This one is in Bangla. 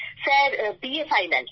sir BA final